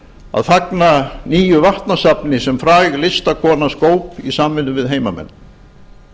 að fagna nýju vatnasafni sem fræg listakona skóp í samvinnu við heimamenn